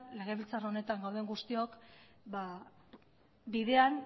legebiltzar honetan gauden guztiok bidean